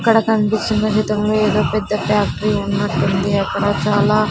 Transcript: ఇక్కడ కన్పిస్తున్న చిత్రంలో ఏదో పెద్ద ఫ్యాక్ట్రీ ఉన్నట్టుంది అక్కడ చాలా--